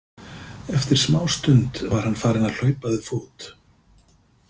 Eftir smástund var hann farinn að hlaupa við fót.